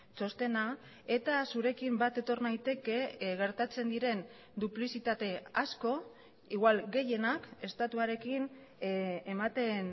txostena eta zurekin bat etor naiteke gertatzen diren duplizitate asko igual gehienak estatuarekin ematen